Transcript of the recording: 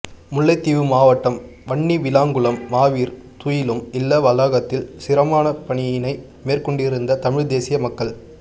முல்லைத்தீவு மாவட்டம் வன்னிவிளாங்குளம் மாவீர் துயிலும் இல்ல வளாகத்தில் சிரமதானப் பணியினை மேற்கொண்டிருந்த தமிழ்த் தேசிய மக்கள்